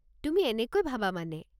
তুমি এনেকৈ ভাবা মানে?